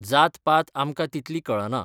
जातपात आमकां तितली कळना.